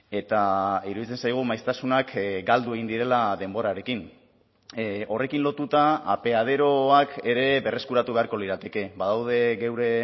eta iruditzen zaigu maiztasunak galdu egin direla denborarekin horrekin lotuta apeaderoak ere berreskuratu beharko lirateke badaude geure